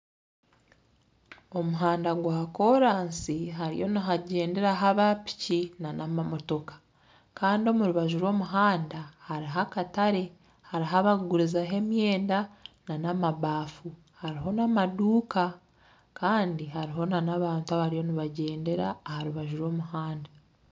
Omuhanda gwa koraasi hariyo nihagyenderaho aba piki n'amamotoka. Kandi omu rubaju rw'omuhanda hariho akatare, hariho abakugurizaho emyenda n'amabaafu, hariho n'amaduuka. Kandi hariho n'abantu abariyo nibagyendera aha rubaju rw'omuhanda.